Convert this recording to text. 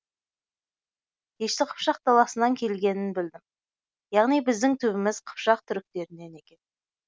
дешті қыпшақ даласынан келгенін білдім яғни біздің түбіміз қыпшақ түріктерінен екен